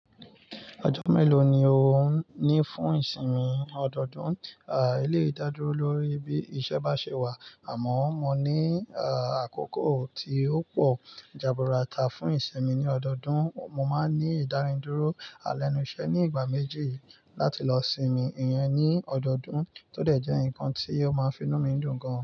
Ọjọ́ mélòó ni ò ń ní fún ìsinmi ọdọọdún? À, eléyìí dádúró lórí bí iṣẹ́ bá ṣe wà àmọ́ mo ní, à, àkókò tí ó pọ̀ ìjànbùràtà fún ìsinmi ní ọdọọdún, mo máa ń ní ìdáridúró alẹ́nu iṣẹ́ ní ìgbà méjì láti lọ sinmi ìyẹn ní ọdọọdún tó dẹ̀ jẹ́ nǹkan tí ó máa ń fi inú mi dùn gan.